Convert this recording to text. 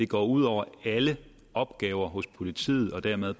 går ud over alle opgaver hos politiet og dermed